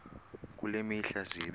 kule mihla zibe